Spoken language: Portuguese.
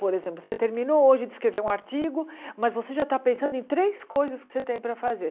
Por exemplo, você terminou hoje de escrever um artigo, mas você já está pensando em três coisas que você tem para fazer.